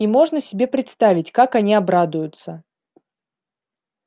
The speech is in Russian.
и можно себе представить как они обрадуются